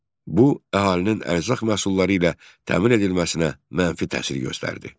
Bu əhalinin ərzaq məhsulları ilə təmin edilməsinə mənfi təsir göstərdi.